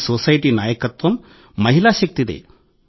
ఈ సొసైటీ నాయకత్వం మహిళా శక్తిదే